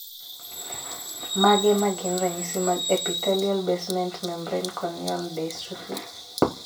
Mage magin ranyisi mag Epithelial basement membrane corneal dystrophy?